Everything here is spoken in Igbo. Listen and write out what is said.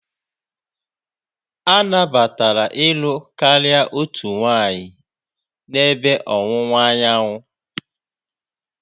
A nabatara ịlụ karịa otu nwanyị n'ebe Ọwụwa Anyanwụ.